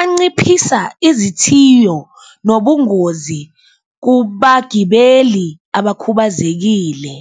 anciphisa izithiyo nobungozi kubagibeli abakhubazekile.